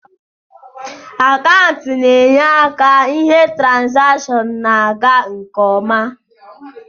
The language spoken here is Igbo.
Akaụntanti na enye aka ihe trazation na aga nke ọma